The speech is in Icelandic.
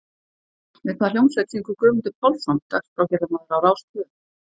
Með hvað hljómsveit syngur Guðmundur Pálsson, dagskrárgerðarmaður á RÁS tvö?